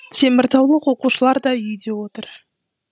теміртаулық оқушылар да үйде отыр